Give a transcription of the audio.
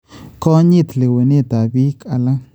Konyit leewenetab biik alak